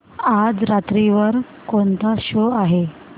आज रात्री वर कोणता शो आहे